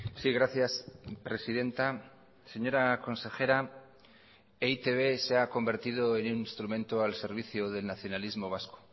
sí gracias presidenta señora consejera e i te be se ha convertido en un instrumento al servicio del nacionalismo vasco